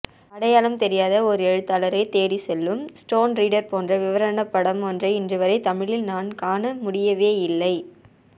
அடையாளம் தெரியாத ஒரு எழுத்தாளரைத் தேடிச்செல்லும் ஸ்டோன் ரீடர் போன்ற விவரணப்படம் ஒன்றை இன்றுவரை தமிழில் நான் காண முடியவேயில்லை